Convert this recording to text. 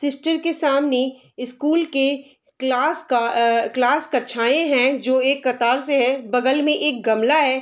Sister के सामने school के क्लास का आ क्लास कक्षाएँ है जो एक कतार से है बगल में एक गमला है ।